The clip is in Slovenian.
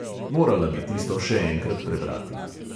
Morala bi tisto še enkrat prebrati.